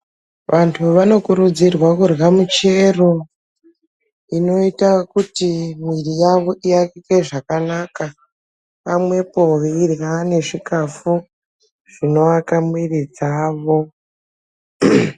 Vantu vanokurudzirwa kurya muchero inoita kuti mwiri yavo iakike zvakanaka pamwepo veirya nezvikhafu zvinoaka mwiri dzavo.